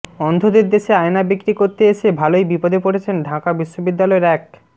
অন্ধদের দেশে আয়না বিক্রি করতে এসে ভালোই বিপদে পড়েছেন ঢাকা বিশ্ববিদ্যালয়ের এক